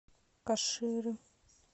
каширы